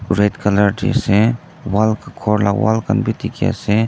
red colour tree se wall ghor lah wall khan bhi dikhi ase.